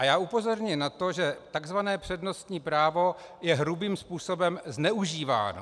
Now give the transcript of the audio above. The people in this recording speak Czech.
A já upozorňuji na to, že tzv. přednostní právo je hrubým způsobem zneužíváno.